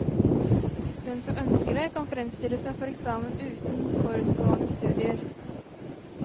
Den som ønsker det, kan fremstille seg for eksamen uten forutgående studier.